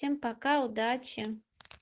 всем пока удачи